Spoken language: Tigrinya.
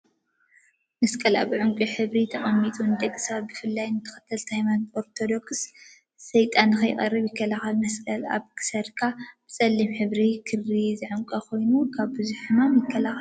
መስቀል አብ ዕንቋይ ሕብሪ ተቀሚጡ ንደቂ ሰባት ብፍላይ ንተከተልቲ ሃይማኖት ኦርቶዶክስ ሰይጣን ንከይቀርቦም ይከላከል፡፡ መስቀል አብ ክሳድካ ብፀሊም ሕብሪ ክሪ ዝዕነቅ ኮይኑ ካብ ቡዙሓት ሕማማት ይከላከል እዩ፡፡